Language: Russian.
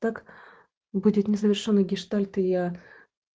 так будет незавершённый гештальт и я